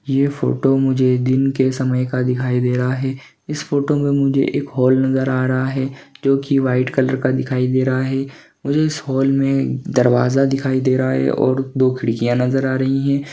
ये फोटो मुझे दिन के समय का दिखाई दे रहा है इस फोटो मे मुझे एक हॉल नज़र आ रहा है जोकी व्हाइट कलर का दिखाई दे रहा है मुझे इस हॉल मे दरवाज़ा दिखाई दे रहा है और दो खिड़किया नज़र आ रही हैं।